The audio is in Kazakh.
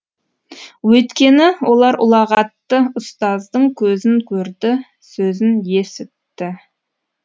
өйткені олар ұлағатты ұстаздың көзін көрді сөзін есітті